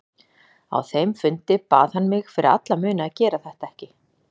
Á þeim fundi bað hann mig fyrir alla muni að gera þetta ekki.